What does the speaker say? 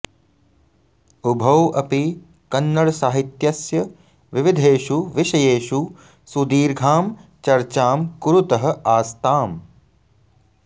उभौ अपि कन्नडसाहित्यस्य विविधेषु विषयेषु सुदीर्घां चर्चां कुरुतः आस्ताम्